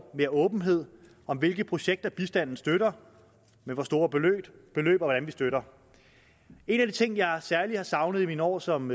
mere åbenhed om hvilke projekter bistanden støtter med hvor store beløb og hvordan vi støtter en af de ting jeg særlig har savnet i mine år som